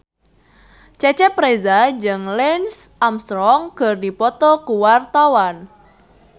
Cecep Reza jeung Lance Armstrong keur dipoto ku wartawan